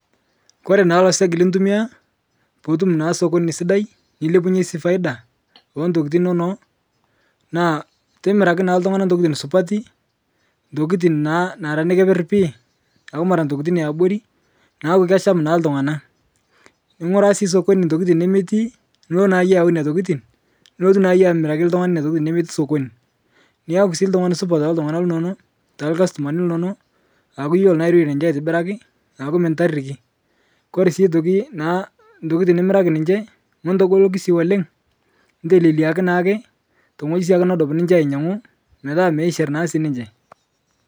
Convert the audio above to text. Kore naa loseg litumiaa puutum sokoni sidai nilepunye sii faida entokitin inono, naa timiraki naa ltung'ana ntokitin supati, ntokitin naa nara nekeper pii, aaku mara ntokitin eabori neaku kesham naa ltung'ana. Ning'uraa sii sokoni ntokitin nemetii, nulo naa yie aayau nena tokitin, nulotu naa iyie amiraki lolo tung'ana nena tokitin nemeti sokoni, niaku sii ltung'ani supat teltung'ana linono, telkastumani linono, aaku iyolo naa airore ninche aitibiraki aaku mintariki. Kore nasii aitoki naa ntokitin nimiraki ninche, mutogoliki sii oleng' nteleleaki naake ntong'oji sii nedup ninche ainyang'u petaa meishir nasii ninche